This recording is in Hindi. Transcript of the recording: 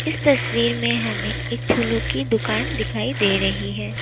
इस तस्वीर में हमें एक फूलों की दुकान दिखाई दे रही है।